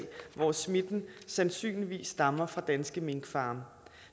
hvor smitten sandsynligvis stammer fra danske minkfarme